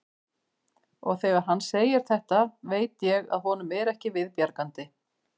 Og þegar hann segir þetta veit ég að honum er ekki við bjargandi.